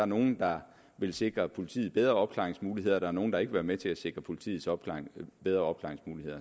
nogle der vil sikre politiet bedre opklaringsmuligheder og der er nogle der ikke vil være med til at sikre politiet bedre opklaringsmuligheder